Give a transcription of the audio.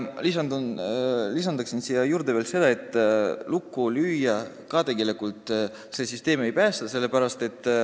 Lisan siia juurde veel, et lukku löömine tegelikult seda süsteemi ka ei päästa.